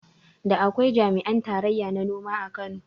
Da akwai jami'an tarayya na noma a Najeriya